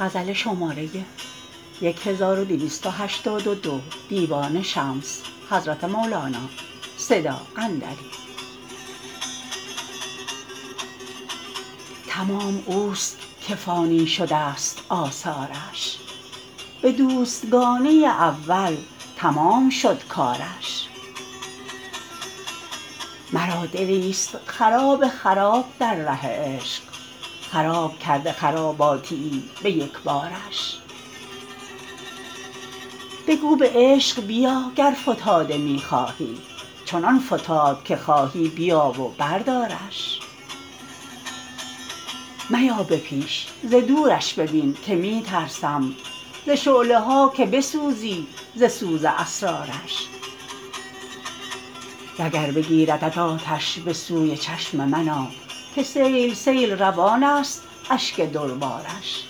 تمام اوست که فانی شدست آثارش به دوستگانی اول تمام شد کارش مرا دلیست خراب خراب در ره عشق خراب کرده خراباتیی به یک بارش بگو به عشق بیا گر فتاده می خواهی چنان فتاد که خواهی بیا و بردارش میا به پیش ز درش ببین که می ترسم ز شعله ها که بسوزی ز سوز اسرارش وگر بگیردت آتش به سوی چشم من آ که سیل سیل روانست اشک دربارش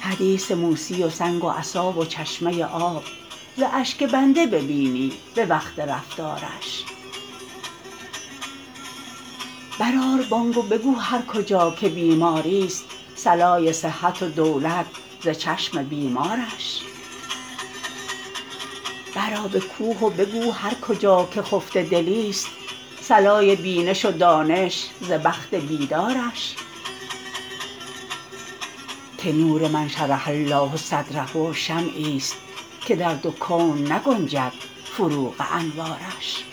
حدیث موسی و سنگ و عصا و چشمه آب ز اشک بنده ببینی به وقت رفتارش برآر بانگ و بگو هر کجا که بیماریست صلای صحت و دولت ز چشم بیمارش برآ به کوه و بگو هر کجا که خفته دلیست صلای بینش و دانش ز بخت بیدارش که نور من شرح الله صدره شمعیست که در دو کون نگنجد فروغ انوارش